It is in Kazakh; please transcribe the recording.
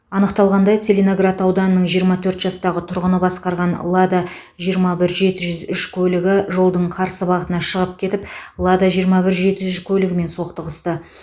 анықталғандай целиноград ауданының жиырма төрт жастағы тұрғыны басқарған лада жиырма бір жеті жүз үш көлігі жолдың қарсы бағытына шығып кетіп лада жиырма бір жеті жүз үш көлігімен соқтығысты